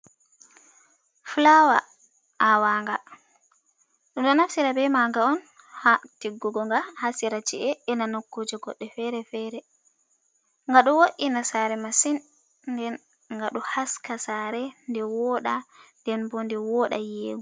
Fulawa awaga ɗu ɗo naftira be maga on ha tegugo ga ha sira che’e ena nokkuje goɗɗe fere-fere, ga ɗo wod’ina sare masin nden ngaɗo haska sare nde woɗa ɗen bo nde woda yiego.